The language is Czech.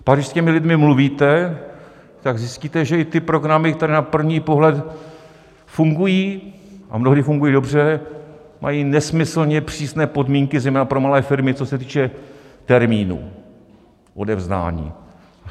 Pak, když s těmi lidmi mluvíte, tak zjistíte, že i ty programy, které na první pohled fungují - a mnohdy fungují dobře - mají nesmyslně přísné podmínky, zejména pro malé firmy, co se týče termínů odevzdání.